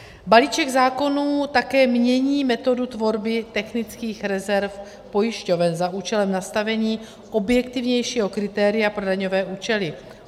Balíček zákonů také mění metodu tvorby technických rezerv pojišťoven za účelem nastavení objektivnějšího kritéria pro daňové účely.